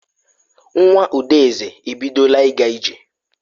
Nwa Udeze ebidola ịga ije.